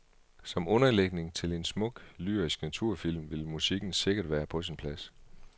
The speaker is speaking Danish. Som underlægning til en smuk, lyrisk naturfilm vil musikken sikkert være på sin plads.